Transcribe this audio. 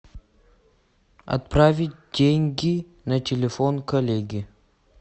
отправить деньги на телефон коллеги